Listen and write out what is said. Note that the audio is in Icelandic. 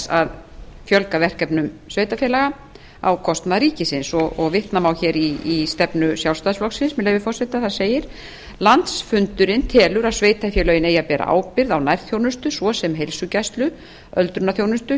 að fjölga verkefnum sveitarfélaga á kostnað ríkisins vitna má hér í stefnu sjálfstæðisflokksins með leyfi forseta þar segir landsfundurinn telur að sveitarfélögin eigi að bera ábyrgð á nærþjónustu svo sem heilsugæslu öldrunarþjónustu